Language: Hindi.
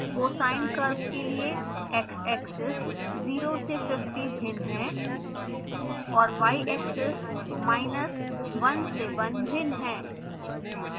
cosine curve के लिए xaxis 0 से 50 भिन्न है और yaxis minus 1 से 1 भिन्न है